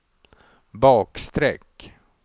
bakstreck